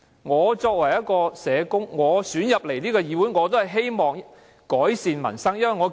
我作為一名被選進議會的社工，亦希望為改善民生出一分力。